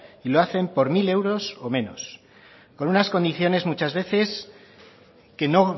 y lo hacen por mil euros o menos con unas condiciones muchas veces que no